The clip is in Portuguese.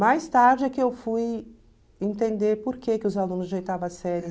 Mais tarde é que eu fui entender por que que os alunos de oitava série